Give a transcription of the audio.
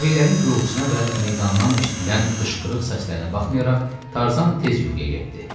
Təbillərin gurultusuna və meydandan eşidilən qışqırıq səslərinə baxmayaraq Tarzan tez yuxuya getdi.